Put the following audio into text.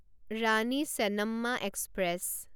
Rani Chennamma express